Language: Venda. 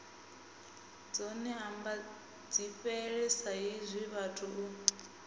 dzone ambadzifhele saizwi vhathu ri